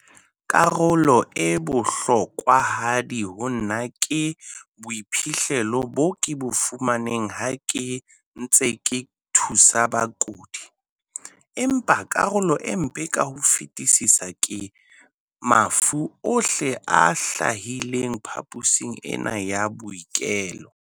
"Karolo e bohlokwahadi ho nna ke boiphihlelo bo ke bo fumaneng ha ke ntse ke thusa bakudi, empa karolo e mpe ka ho fetisisa ke mafu ohle a hlahileng phaposing ena ya bookelo."